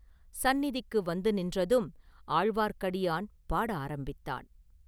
சந்நிதிக்கு வந்து நின்றதும் ஆழ்வார்க்கடியான் பாட ஆரம்பித்தான்.